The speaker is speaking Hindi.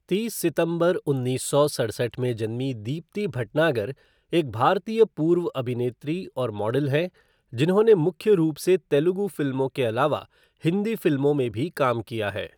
तीस सितंबर उन्नीस सौ सड़सठ में जन्मी दीप्ति भटनागर एक भारतीय पूर्व अभिनेत्री और मॉडल हैं, जिन्होंने मुख्य रूप से तेलुगु फिल्मों के अलावा हिंदी फिल्मों में भी काम किया है।